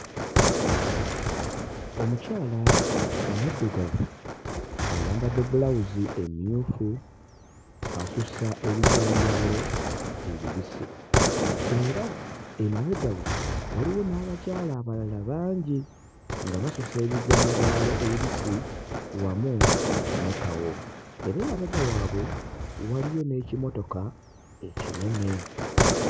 Omukyala omuddugavu ayambadde bbulawuzi emmyufu asusa ebijanjaalo ebibisi era emabega we waliwo n'abakyala abalala bangi nga basusa ebijanjaalo ebibisi wamu ne kawo era emabega waabwe waliyo n'ekimotoka ekinene.